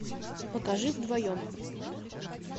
покажи вдвоем